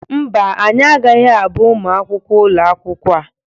Mba, anyị agaghị abụ ụmụ akwụkwọ ụlọ akwụkwọ a.